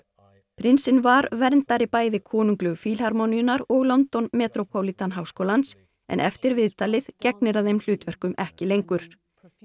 prinsinn var verndari bæði konunglegu og London metropolitan háskólans en eftir viðtalið gegnir hann þeim hlutverkum ekki lengur þá